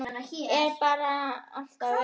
Eða bara alltaf veikur.